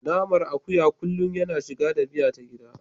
Naman akuya kullum yana shiga da miya ta gida.